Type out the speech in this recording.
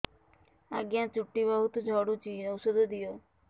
ଆଜ୍ଞା ଚୁଟି ବହୁତ୍ ଝଡୁଚି ଔଷଧ ଦିଅ